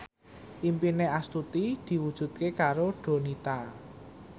impine Astuti diwujudke karo Donita